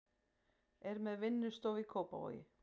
Er með vinnustofu í Kópavogi.